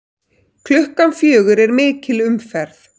Klukkan fjögur er mikil umferð.